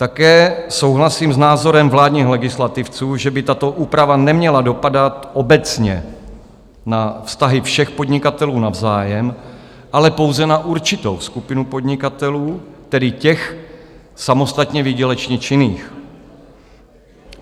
Také souhlasím s názorem vládních legislativců, že by tato úprava neměla dopadat obecně na vztahy všech podnikatelů navzájem, ale pouze na určitou skupinu podnikatelů, tedy těch samostatně výdělečně činných.